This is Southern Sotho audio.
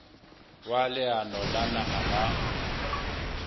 wa leano la naha la